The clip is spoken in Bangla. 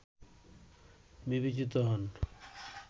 বিবেচিত হন